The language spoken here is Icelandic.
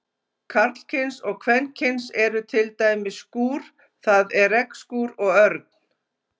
Karlkyns og kvenkyns eru til dæmis skúr, það er regnskúr, og örn.